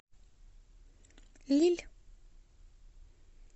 лилль